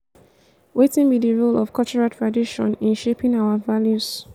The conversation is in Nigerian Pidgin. wetin be di role of cultural tradition in shaping our values?